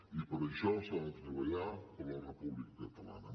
i per això s’ha de treballar per la república catalana